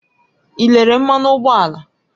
Ị lelee mmanụ ụgbọala?